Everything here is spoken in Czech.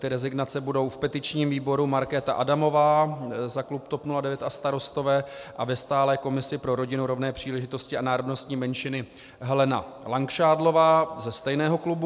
Ty rezignace budou v petičním výboru Markéta Adamová za klub TOP 09 a Starostové a ve stálé komisi pro rodinu, rovné příležitosti a národnostní menšiny Helena Langšádlová ze stejného klubu.